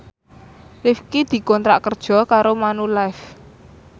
Rifqi dikontrak kerja karo Manulife